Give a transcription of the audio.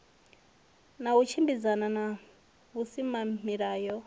na u tshimbidzana na vhusimamilayo